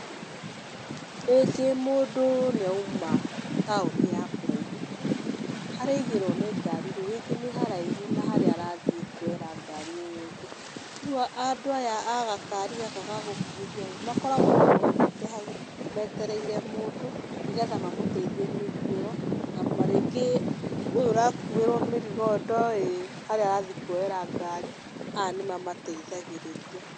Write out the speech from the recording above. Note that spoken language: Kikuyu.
Rĩngĩ mũndũ nĩ auma taũni ya kũraihu, harĩa aigĩrwo nĩ ngari rĩ rĩngĩ nĩ haraihu na harĩa arathiĩ kuoyera ngari ĩyo ĩngĩ. Rĩu andũ aya a gakari gaka ga gũkururia ĩ, makoragwo marũgamĩte hau, metereire mũndũ nĩ getha mamũteithie mĩrigo ĩyo na rĩngĩ ũyũ ũrakuĩrwo mĩrigo ndoĩ harĩa arathiĩ kuoyera ngari, aya nĩ mamateithagĩrĩria.